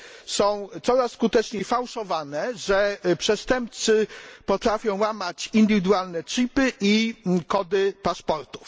są coraz skuteczniej fałszowane, że przestępcy potrafią łamać indywidualne chipy i kody paszportów.